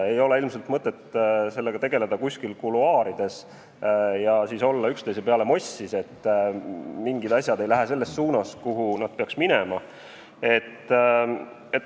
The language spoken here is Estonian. Ei ole ilmselt mõtet sellega tegeleda kuskil kuluaarides ja siis olla üksteise peale mossis, et mingid asjad ei lähe selles suunas, nagu nad peaks minema.